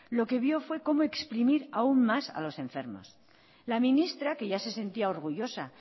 lo que vio es cómo exprimir aún más a los enfermos la ministra que ya se sentía orgullosa